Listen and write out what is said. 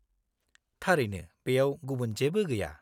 -थारैनो बेयाव गुबुन जेबो गैया।